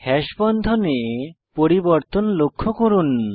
hash বন্ধনে পরিবর্তন লক্ষ্য করুন